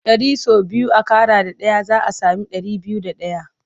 Ɗari sau biyu a ƙara da ɗaya za a sami ɗari biyu da ɗaya.